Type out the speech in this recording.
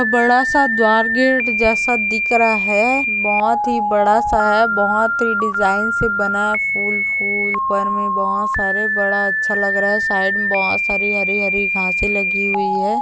बड़ा सा द्वार गेट जैसा दिखरा है बहुत बड़ा सा हैं बहुत डिज़ाइन से बना हैं फूल फूल ऊपर में बहुत सारे बड़ा अच्छा लग रहा है साइड में बहुत सारी सारे हरे हरे गासे लगे हुए हैं।